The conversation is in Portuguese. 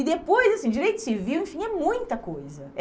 E depois, assim, direito civil, enfim, é muita coisa.